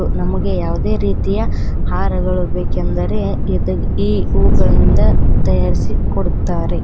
ನಮಗೆ ಯಾವುದೇ ರೀತಿಯ ಹಾರಗಳು ಬೇಕೆಂದರೆ ಇದ್ ಈ ಹೂಗಳಿಂದ ತಯಾರಿಸಿ ಕೊಡುತ್ತಾರೆ.